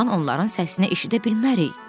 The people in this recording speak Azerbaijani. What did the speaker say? Burdan onların səsini eşidə bilmərik.